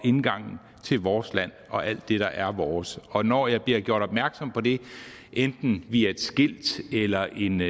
og indgangen til vores land og alt det der er vores og når jeg bliver gjort opmærksom på det enten via et skilt eller en